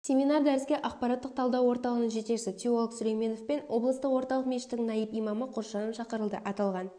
семинар-дәріске ақпараттық-талдау орталығының жетекшісі теолог сүлейменов пен облыстық орталық мешіттің найб имамы қосжанов шақырылды аталған